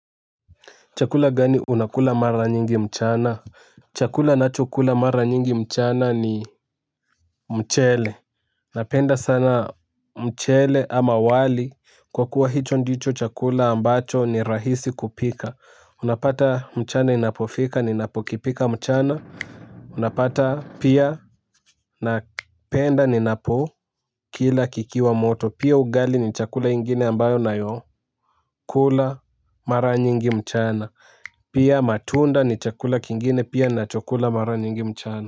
Chakula gani unakula mara nyingi mchana? Chakula ninachokula mara nyingi mchana ni mchele. Napenda sana mchele ama wali kwa kuwa hicho ndicho chakula ambacho ni rahisi kupika. Unapata mchana inapofika ninapokipika mchana. Unapata pia napenda ninapokila kikiwa moto, pia ugali ni chakula ingine ambayo nayo. Kula mara nyingi mchana. Pia matunda ni chakula kingine pia ninachokula mara nyingi mchana.